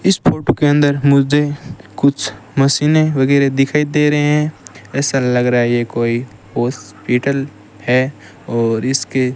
इस फोटो के अंदर मुझे कुछ मशीनें वगैरह दिखाई दे रहे हैं ऐसा लग रहा है ये कोई हॉस्पिटल है और इसके --